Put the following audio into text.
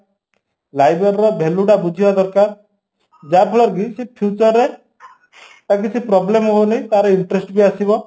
library ର value ଟା ବୁଝିବା ଦରକାର ଯାହା ଫଳରେକି ସେ future ରେ ତାର କିଛି problem ହଉନି interest ବି ଆସିବା